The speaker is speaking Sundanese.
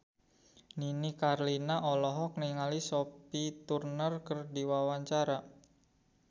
Nini Carlina olohok ningali Sophie Turner keur diwawancara